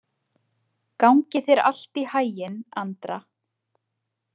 Gangi þér allt í haginn, Andra.